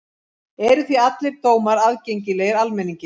Eru því allir dómar aðgengilegir almenningi.